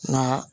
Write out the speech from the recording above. Nka